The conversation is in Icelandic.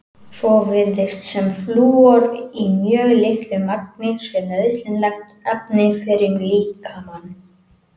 Svo virðist sem flúor í mjög litlu magni sé nauðsynlegt efni fyrir líkamann.